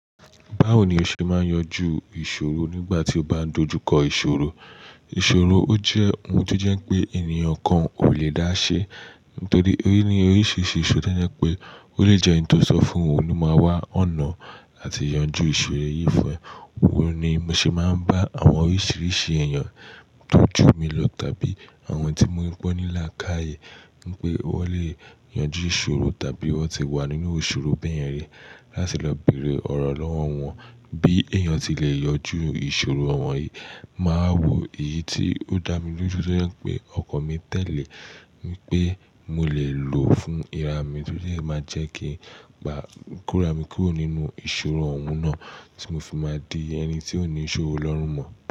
Báwo ni o ṣe máa ń yanjú ìṣòro nígbà tí o bá dojú kọ ìṣòro? Ìṣòro ó jẹ́ ohun tó jẹ́ pé ènìyàn kan ò lè dáṣẹ́. Nítorí pé ní oríṣiríṣi ìṣòro tó jẹ́ pé ó lè jẹ́ ẹni tó sọ fún ọ̀hun, ló máa wá ọ̀nà làti yanjú ìṣòro yìí fún ẹ. Wọ ni mo ṣe máa ń bá àwọn oríṣiríṣi èèyàn tó jù mí lọ tàbí àwọn tí mo rí pé wọ́n ní làákàyè wípé wọ́n lè yanjú ìṣòro tàbí wọ́n ti wà nínú ìṣòro bẹ́ẹ̀ yẹn rí láti lọ bèrè ọ̀rọ̀ lọ́wọ́ wọn. Bí èèyàn ti lè yanjú ìṣòro ọ̀wọ́n yìí, màá wo èyí tí ó dá mi lójú tójẹ́ pé ọkan mi tẹ̀lé mi pé mo lè lò ó fún ìra mi torí e máa jẹ́ kí n gba kọ ra mi kúrò nínú ìṣòro òun náà tí mo fi máa di ẹni tí ó ní ìṣòro lọ́rùn mọ́.